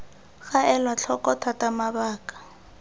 ga elwa tlhoko thata mabaka